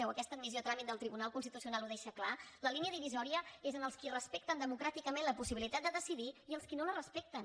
o aquesta admissió a tràmit del tribunal constitucional ho deixa clar la línia divisòria és entre els qui respecten democràticament la possibilitat de decidir i els qui no la respecten